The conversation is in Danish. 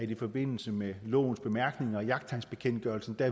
i forbindelse med lovens bemærkninger og jagttegnsbekendtgørelsen